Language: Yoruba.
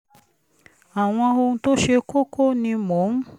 àwọn ohun tó ṣe kókó ni mò ń